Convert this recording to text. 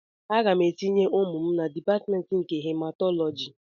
Aga m etinye ụmụ m na Dipatmentị nke Hematọlọji